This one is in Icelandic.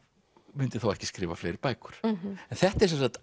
myndi þá ekki skrifa fleiri bækur en þetta er sem sagt